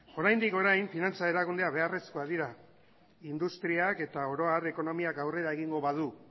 oraindik orain finantza erakundeak beharrezkoak dira industriak eta oro har ekonomiak aurrera egingo badu